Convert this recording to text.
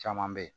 Caman bɛ yen